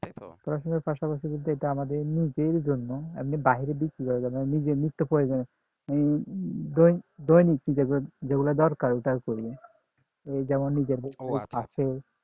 পড়াশোনার পাশাপাশি বলতে এটা আমাদের নিজের জন্য এমনি বাহিরে বিক্রি করার জন্য নয় নিজের নিত্যপ্রয়োজনীয় মানে দৈনিক দৈনিক যেগুলো দরকার ওটার জন্য যেমন নিজের খরচ বাচে